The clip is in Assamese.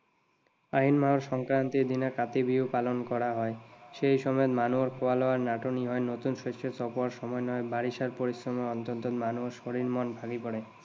আহিন মাহৰ সংক্ৰান্তিৰ দিনা কাতি বিহু পালন কৰা হয়। সেই সময়ত মানুহৰ খোৱা লোৱাৰ নাটনি হয়। নতুন শস্য চপোৱাৰ সময় নহয়, বাৰিষাৰ পৰিশ্ৰমৰ অন্তত মানুহৰ শৰীৰ, মন ভাগি পৰে।